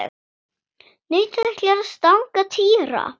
Nautið ætlaði að stanga Týra.